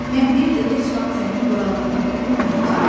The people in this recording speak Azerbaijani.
Mən bir də heç vaxt sənin boyalarına toxunmayacağam.